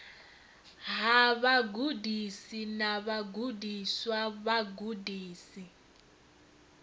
ha vhagudisi na vhagudiswa vhagudisi